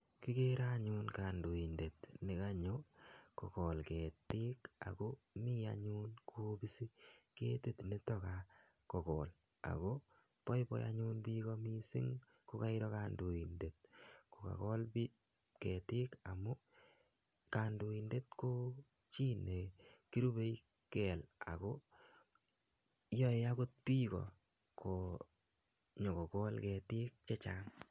kigere anyun kandoindet ne kanyo ko koitesi ak kigere kobisi ketit ne to kokol ako boiboi bik kokoker kandoindet kokakol ketik amu kirube kandoik ako chi ne kakol ketik ko nyo kokol ketik chechang